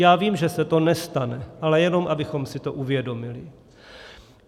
Já vím, že se to nestane, ale jenom abychom si to uvědomili.